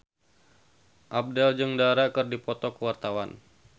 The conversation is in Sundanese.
Abdel jeung Dara keur dipoto ku wartawan